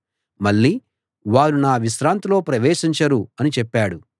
మళ్లీ వారు నా విశ్రాంతిలో ప్రవేశించరు అని చెప్పాడు